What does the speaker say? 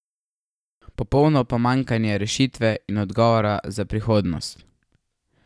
Popolno pomanjkanje rešitve in odgovorov za prihodnost.